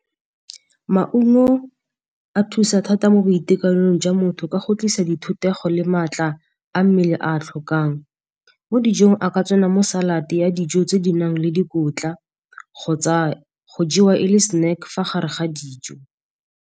Maungo a thusa thata mo boitekanelong jwa motho ka go tlisa di thutego le maatla a mmele a a tlhokang. Mo dijong a ka tsena mo salad ya dijo tse di nang le dikotla kgotsa go jewa e le snack fa gare ga dijo.